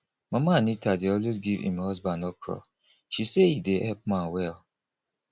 mama anita dey always give im husband okra she say e dey help man well